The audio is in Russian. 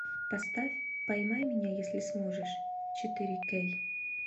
поставь поймай меня если сможешь четыре кей